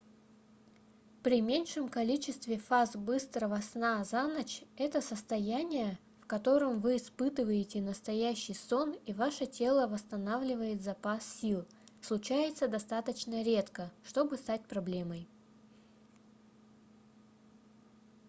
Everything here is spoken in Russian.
при меньшем количестве фаз быстрого сна за ночь это состояние в котором вы испытываете настоящий сон и ваше тело восстанавливает запас сил случается достаточно редко чтобы стать проблемой